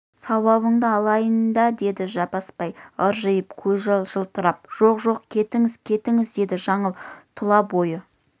сауабыңды алайын да деді жаппасбай ыржиып көзі жылтырап жоқ жоқ кетіңіз кетіңіз деді жаңыл тұла бойы